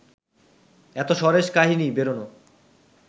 এত সরেস কাহিনি বেরোনো